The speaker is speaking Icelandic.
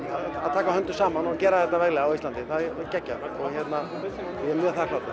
taka höndum saman og gera þetta veglega á Íslandi það er geggjað og ég er mjög þakklátur